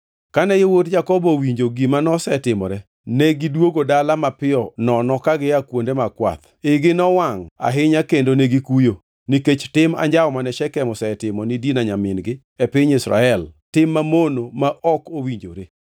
Kane yawuot Jakobo owinjo gima nosetimore, negidwogo dala mapiyo nono ka gia kuonde mag kwath. Igi nowangʼ ahinya kendo negikuyo, nikech tim anjawo mane Shekem osetimo ni Dina nyamin-gi e piny Israel, tim mamono ma ok owinjore.